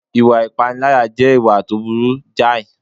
Ìwà pípániláyà jẹ́ ìwà tó burú jàì